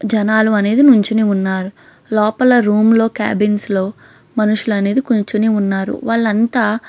జనాలు అనేవారు నిల్చోని ఉంటారు లాపాల రూమ్ క్యాబిన్స్ లో మనుచు కూర్చోని ఉన్నారు వాల్లుఅంత--